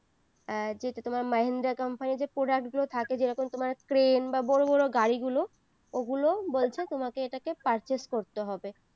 আর যেহেতু তোমার মাহিন্দ্রা company তে product গুলো থাকে যেরকম তোমার crane বা বড়ো বড়ো গাড়ি গুলো ওগুলো বলছে তোমাকে এটা purchase করতে হবে